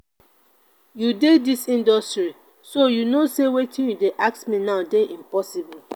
you dey dis industry so you no say wetin you dey ask me now dey impossible